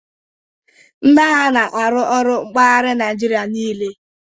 Ndị agha n'aru ọrụ mpaghari Naijiria niile